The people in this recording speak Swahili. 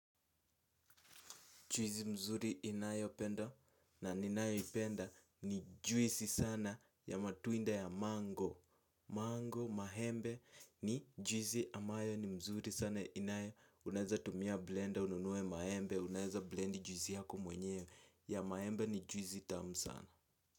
Juizi mzuri inayopenda na ninayoipenda ni juizi sana ya matunda ya mango. Mango maembe ni juizi ambayo ni mzuri sana inayo. Unaeza tumia blender ununue maembe. Unaeza blend juizi yako mwenyewe. Ya maembe ni juizi tamu sana.